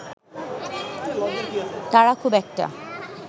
তারা খুব একটা